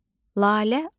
Lalə al.